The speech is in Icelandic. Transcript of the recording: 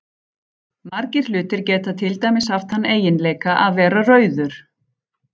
Margir hlutir geta til dæmis haft þann eiginleika að vera rauður.